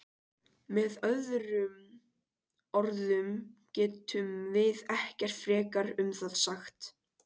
Með öðrum orðum getum við ekkert frekar um það sagt.